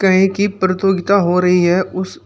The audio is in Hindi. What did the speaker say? कहीं की प्रतियोगिता हो रही है उस--